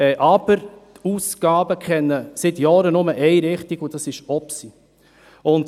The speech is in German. Aber die Ausgaben kennen seit Jahren nur eine Richtung, und zwar nach oben.